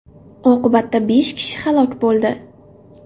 Oqibatda besh kishi halok bo‘ldi.